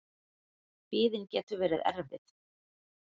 Biðin getur verið erfið.